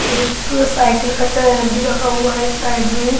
एक साइकिल का टायर भी रखा हुआ है साइड में--